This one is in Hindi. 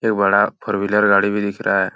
एक बड़ा फोर व्हीलर गाड़ी भी दिख रहा है।